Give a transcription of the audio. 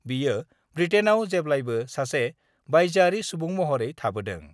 बियो ब्रिटेइनाव जेब्लायबो सासे बायजोआरि सुबुं महरै थाबोदों।